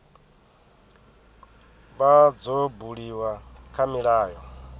vha dzo buliwa kha milayo